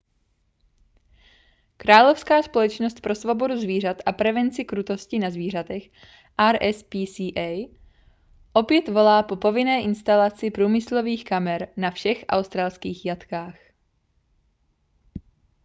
královská společnost pro svobodu zvířat a prevenci krutosti na zvířatech rspca opět volá po povinné instalaci průmyslových kamer na všech australských jatkách